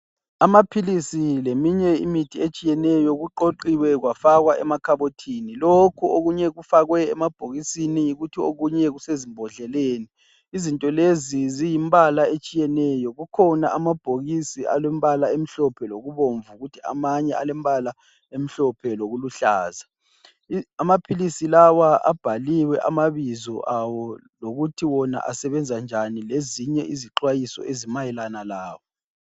Amaphilisi leminye imithi etshiyeneyo kuqoqiwe kwafakwa emakhabothini lokho okunye kufakwe emabhokisini kuthi okunye kusezimbodleleni. izinto leziziyimbala etshiyeneyo kukhona amabhokisi alembala emhlophe lokubomvu kuthi amanye alembala emhlophe lokuluhlaza. Amaphilisi lawa abhaliwe amabizo awo lokuthi wona asebenza njani lezinye izixhwayiso ezimayelana lawo.